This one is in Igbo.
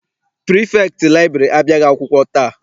Pirifektị laịbụrarị abịaghị akwụkwọ taa.